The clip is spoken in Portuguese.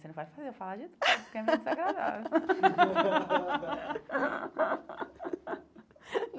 Você não pode fazer eu falar de tudo, porque é meio desagradável.